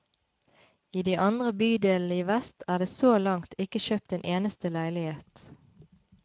I de andre bydelene i vest er det så langt ikke kjøpt en eneste leilighet.